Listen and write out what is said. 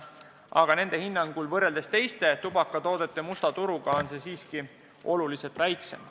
Aga nende hinnangul, võrreldes teiste tubakatoodete musta turuga, on see must turg siiski oluliselt väiksem.